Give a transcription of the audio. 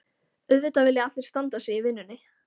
Auðvitað vilja allir standa sig í vinnunni.